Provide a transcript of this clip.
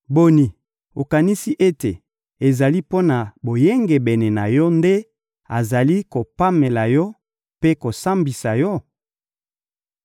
Boni, okanisi ete ezali mpo na boyengebene na yo nde azali kopamela yo mpe kosambisa yo?